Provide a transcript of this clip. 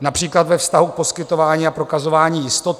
například ve vztahu k poskytování a prokazování jistoty.